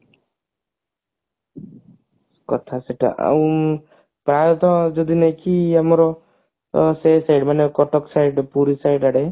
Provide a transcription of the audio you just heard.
କଥା ସେଟା ଆଉ ପ୍ରାଏତ ଯଦି ନୁହଁ କି ଆମର ସେ ସେ ମାନେ କଟକ side ରେ ପୁରୀ side ଆଡେ